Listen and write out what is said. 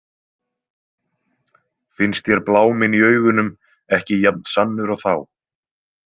Finnst þér bláminn í augunum ekki jafn sannur og þá?